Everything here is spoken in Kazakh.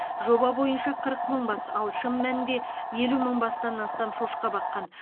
жоба бойынша қырық мың бас ал шын мәнінде елу мың бастан астам шошқа баққан